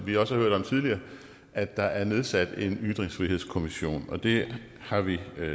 vi også har hørt om tidligere at der er nedsat en ytringsfrihedskommission det har vi